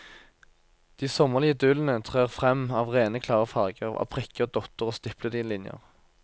De sommerlige idyllene trer frem av rene klare farger, av prikker, dotter og stiplede linjer.